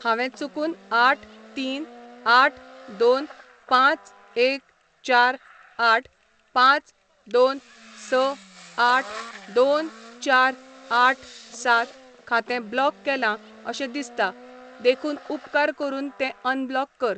हांवें चुकून आठ तीन आठ दोन पांच एक चार आठ पांच दोन स आठ दोन चार आठ सात खातें ब्लॉक केलां अशें दिसता देखून उपकार करून तें अनब्लॉक कर.